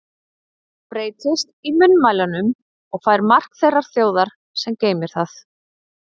Það breytist í munnmælunum og fær mark þeirrar þjóðar, sem geymir það.